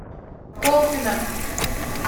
колпино